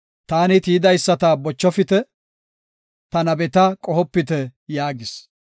“Ta tiyidaysata bochofite; ta nabeta qohopite” yaagis.